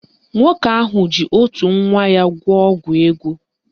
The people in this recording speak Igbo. Nwoke ahụ ji otu nwa ya gwọọ ọgwụ ego